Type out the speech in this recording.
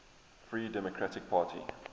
free democratic party